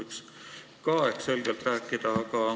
Sellest võiks ehk selgelt rääkida.